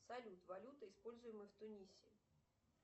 салют валюта используемая в тунисе